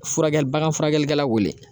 Furakɛli baga furakɛlikɛla wele